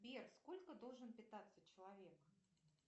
сбер сколько должен питаться человек